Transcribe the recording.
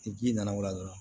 Ni ji nana o la dɔrɔn